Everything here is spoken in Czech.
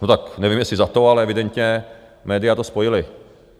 No tak nevím, jestli za to, ale evidentně média to spojila.